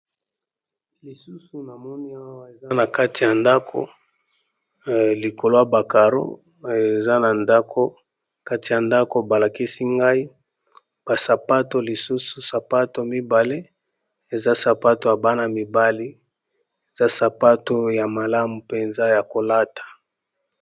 Lisusu na moni awa eza na kati ya ndako likolo ya ba caro eza na ndako, kati ya ndako ba lakisi ngai ba sapato lisusu sapato mibale eza sapato ya bana mibali eza sapato ya malamu mpenza ya kolata.